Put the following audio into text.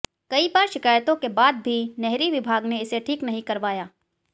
कई बार शिकयतों के बाद भी नहरी विभाग ने इसे ठीक नहीं करवाया